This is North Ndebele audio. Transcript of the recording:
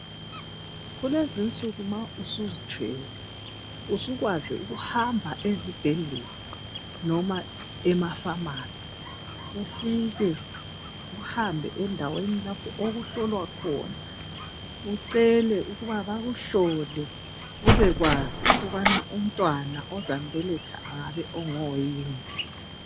Kulezinsuku nxa usuzithwele usukwazi ukuhamba ezibhedlela noma emafamasi ufike uhambe endawen lapho okuhlolwa khona, ucele ukuba bakuhlole ukwazi ukuthi umntwana ozambeletha ngoyini.